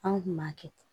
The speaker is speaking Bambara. An kun b'a kɛ ten